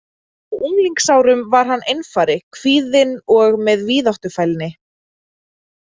Á unglingsárum var hann einfari, kvíðinn og með víðáttufælni.